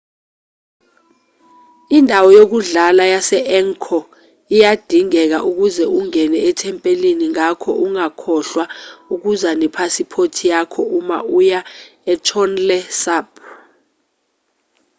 indawo yokudlula yase-angkor iyadingeka ukuze ungene ethempelini ngakho ungakhohlwa ukuza nephasiphothi yakho uma uya etonle sap